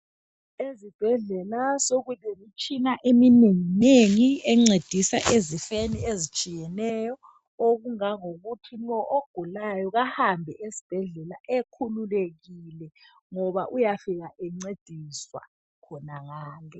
esibhedlela sokulemitshina eminenginengi ecedisa ezifeni ezitshiyeno okungangokuthi lo ogulayo kahambe esibhedlela ekhululekile ngoba uyafika encediswa khonangale